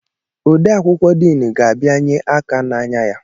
Odee akwụkwọ diin ga-abianye aka n'anya ya.